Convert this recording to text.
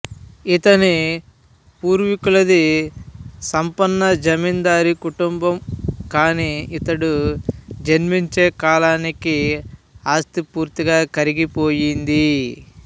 ఇతని పూర్వీకులది సంపన్న జమీందారీ కుటుంబం కానీ ఇతడు జన్మించే కాలానికి ఆస్తి పూర్తిగా కరిగి పోయింది